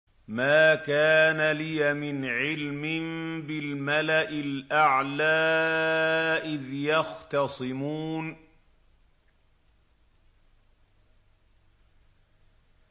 مَا كَانَ لِيَ مِنْ عِلْمٍ بِالْمَلَإِ الْأَعْلَىٰ إِذْ يَخْتَصِمُونَ